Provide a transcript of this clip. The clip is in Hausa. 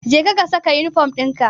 Jeka ka saka yunifom dinka.